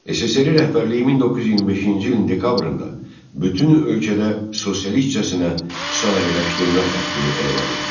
SSRİ rəhbərliyi 1925-ci ilin dekabrında bütün ölkədə sosialistcəsinə sənayeləşdirmə xəttini elan etdi.